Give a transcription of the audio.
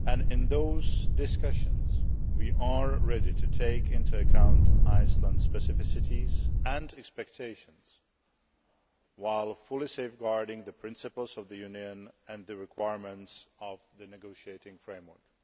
In those discussions we are ready to take into account Iceland's specificities and expectations, while fully safeguarding the principles of the Union and the requirements of the negotiating framework.